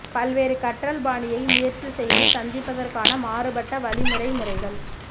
பல்வேறு கற்றல் பாணியை முயற்சி செய்து சந்திப்பதற்கான மாறுபட்ட வழிமுறை முறைகள்